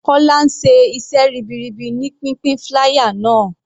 Kola ń ṣe iṣẹ́ ribiribi ní pínpín flier náà.